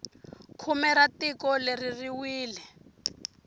khume ra tiko leri ri wile